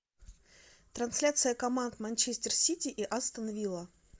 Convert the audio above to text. трансляция команд манчестер сити и астон вилла